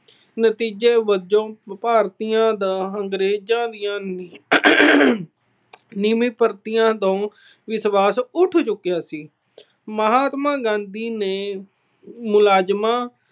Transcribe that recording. ਨਤੀਜੇ ਵਜੋਂ ਭਾਰਤੀਆਂ ਦਾ ਅੰਗਰੇਜਾਂ ਦੀਆਂ ਨਵੀਂਆਂ ਭਰਤੀਆਂ ਤੋਂ ਵਿਸ਼ਵਾਸ ਉਠ ਚੁੱਕਿਆ ਸੀ। ਮਹਾਤਮਾ ਗਾਂਧੀ ਨੇ ਮੁਲਾਜਮਾਂ